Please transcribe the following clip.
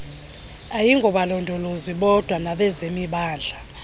ayingobalondolozi bodwa nabezemimandla